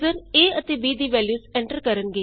user a ਅਤੇ b ਦੀ values enter ਕਰਣਗੇ